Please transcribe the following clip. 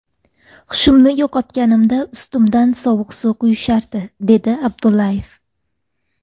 Hushimni yo‘qotganimda ustimdan sovuq suv quyishardi”, dedi Abdullayev.